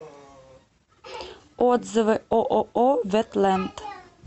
отзывы ооо ветленд